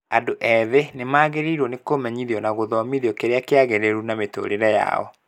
Andũ ethĩ nĩmagĩrĩirwo nĩ kũmenyithio na gũthomithio kĩrĩa kĩagĩrĩru na mĩtũrĩre yao